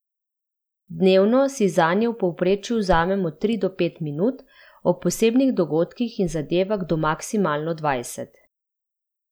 Dnevno si zanje v povprečju vzamem od tri do pet minut, ob posebnih dogodkih in zadevah do maksimalno dvajset.